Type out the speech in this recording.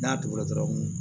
N'a tugura dɔrɔn